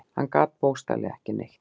Hann gat bókstaflega ekki neitt.